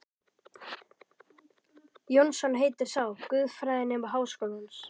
Jónsson heitir sá, guðfræðinemi við Háskólann.